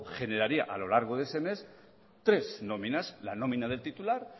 generaría a lo largo de ese mes tres nóminas la nómina del titular